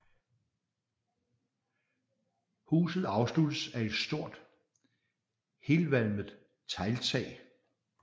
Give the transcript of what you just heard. Huset afsluttes af et stort helvalmet tegltag